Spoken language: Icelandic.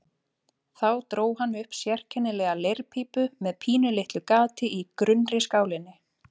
Þá dró hann upp sérkennilega leirpípu með pínulitlu gati í grunnri skálinni.